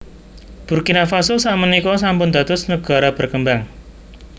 Burkina Faso sak menika sampun dados negara berkembang